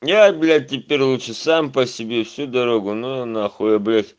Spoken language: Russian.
нет блять теперь лучше сам по себе всю дорогу ну его нахуй я блять